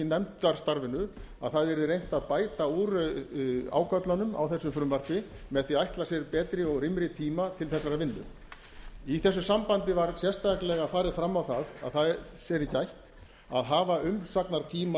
nefndarstarfinu að það yrði reynt að bæta úr ágöllunum á þessu frumvarpi með því að ætla sér betri og rýmri tíma til þessarar vinnu í þessu sambandi var sérstaklega farið fram á það að þess yrði gætt að hafa umsagnartímann